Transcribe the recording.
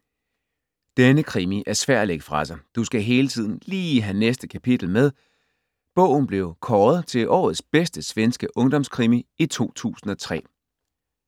Denne krimi er svær at lægge fra sig, du skal hele tiden lige have næste kapitel med. Bogen blev kåret til årets bedste svenske ungdomskrimi i 2003.